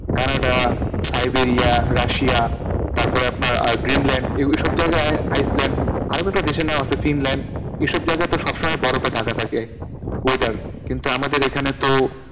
Canada, Siberia, Russia তারপর আপনার আর গ্রীনল্যাণ্ড এ এইসব জায়গায় আইসল্যান্ড, আরও কয়েকটা দেশের নাম আছে ফিনল্যাণ্ড, এসব জায়াগা তো সব সময় বরফে ঢাকা থাকে weather কিন্তু আমাদের এখানে তো,